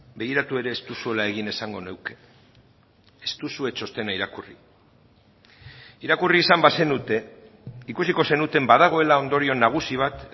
begiratu ere ez duzuela egin esango nuke ez duzue txostena irakurri irakurri izan bazenute ikusiko zenuten badagoela ondorio nagusi bat